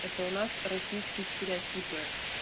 это у нас российский стереотипы